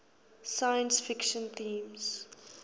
science fiction themes